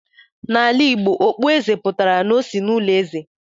n'ala Igbo, okpueze pụtara n'osi ezinụlọ eze